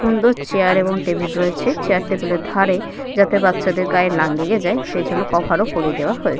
সুন্দর চেয়ার এবং টেবিল রয়েছে । চেয়ার টেবিল - এর ধারে যাতে বাচ্চাদের গায়ে না লেগে যায় । সেইজন্য কভার ও পড়িয়ে দেওয়া হয়েছে।